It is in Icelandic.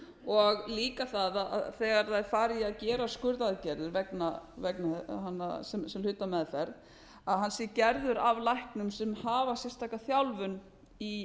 og líka það þegar þær fara í að gera skurðaðgerðir sem hluta af meðferð hann sé gerður af læknum sem hafa sérstaka þjálfun í